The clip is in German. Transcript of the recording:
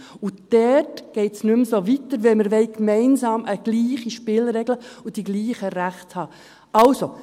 Dort geht es nicht mehr so weiter, wenn wir gemeinsam dieselben Spielregeln und dieselben Rechte haben wollen.